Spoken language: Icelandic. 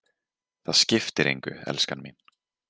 Það skiptir engu, elskan mín.